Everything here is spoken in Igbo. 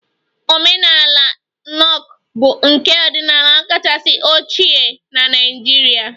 Omenala Nok bụ nka ọdịnala kachasị ochie na Naịjirịa